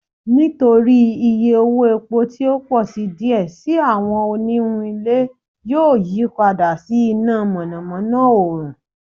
Nitori iye owo epo ti o pọ si diẹ sii awọn oniwun ile yoo yipada si ina mọnamọna oorun